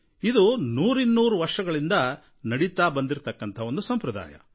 ಇದು ನೂರಿನ್ನೂರು ವರ್ಷಗಳಿಂದ ನಡೆದುಕೊಂಡು ಬಂದಿರೋ ಸಂಪ್ರದಾಯ